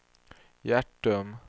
Hjärtum